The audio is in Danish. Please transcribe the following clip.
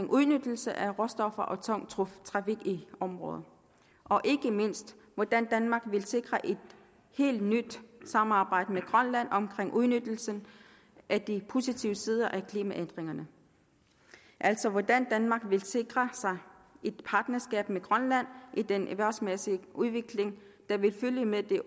udnyttelse af råstoffer og tung trafik i området og ikke mindst hvordan danmark vil sikre et helt nyt samarbejde med grønland om udnyttelsen af de positive sider af klimaændringerne altså hvordan danmark vil sikre sig et partnerskab med grønland i den erhvervsmæssige udvikling der vil følge med de